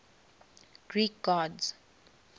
greek gods